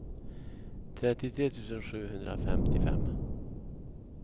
trettiotre tusen sjuhundrafemtiofem